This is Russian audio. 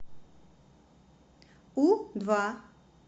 у два